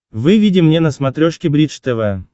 выведи мне на смотрешке бридж тв